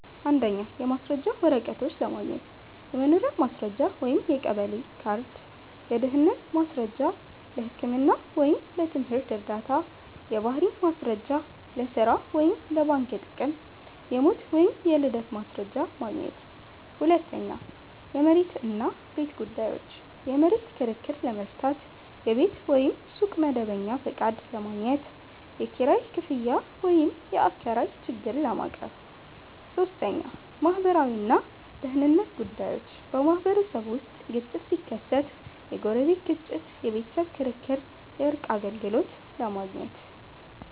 1. የማስረጃ ወረቀቶች ለማግኘት · የመኖሪያ ማስረጃ (የቀበሌ ካርድ) · የድህነት ማስረጃ (ለህክምና ወይም ለትምህርት ዕርዳታ) · የባህሪ ማስረጃ (ለሥራ ወይም ለባንክ ጥቅም) · የሞት ወይም የልደት ማስረጃ ማግኘት 2. የመሬት እና ቤት ጉዳዮች · የመሬት ክርክር ለመፍታት · የቤት ወይም ሱቅ መደበኛ ፈቃድ ለማግኘት · የኪራይ ክፍያ ወይም የአከራይ ችግር ለማቅረብ 3. ማህበራዊ እና ደህንነት ጉዳዮች · በማህበረሰብ ውስጥ ግጭት ሲከሰት (ጎረቤት ግጭት፣ የቤተሰብ ክርክር) የእርቅ አገልግሎት ለማግኘት